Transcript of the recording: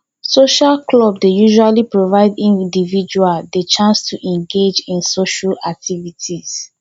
social clubs dey usually provide individuals di chance to engage in social activities